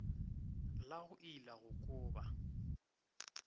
la go ila go kuba